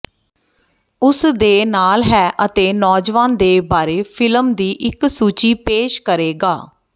ਉਸ ਦੇ ਨਾਲ ਹੈ ਅਤੇ ਨੌਜਵਾਨ ਦੇ ਬਾਰੇ ਫਿਲਮ ਦੀ ਇੱਕ ਸੂਚੀ ਪੇਸ਼ ਕਰੇਗਾ